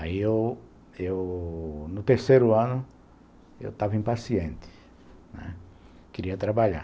Aí, eu, eu... No terceiro ano, eu estava impaciente, né, queria trabalhar.